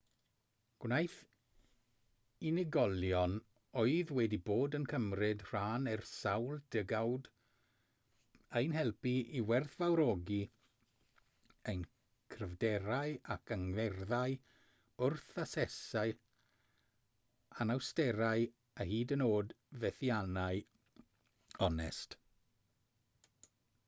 gwnaeth unigolion oedd wedi bod yn cymryd rhan ers sawl degawd ein helpu i werthfawrogi ein cryfderau ac angerddau wrth asesu anawsterau a hyd yn oed fethiannau'n onest